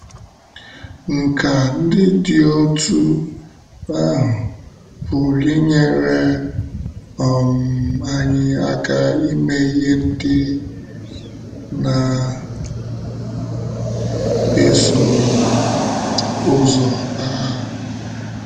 Nkà ndị dị otú ahụ pụrụ inyere um anyị aka ime ihe ndị na - eso um ụzọ. um